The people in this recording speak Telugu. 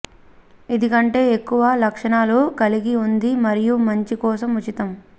ఇది కంటే ఎక్కువ లక్షణాలను కలిగి ఉంది మరియు మంచి కోసం ఉచితం